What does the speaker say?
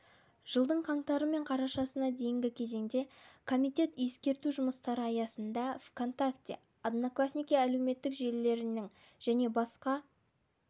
жылдың қаңтары мен қарашасына дейінгі кезеңде комитет ескерту жұмыстары аясында онтакте одноклассники әлеуметтік желілерінің және басқа